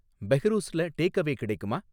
பெஹ்ரூஸ்ல takeaway கிடைக்குமா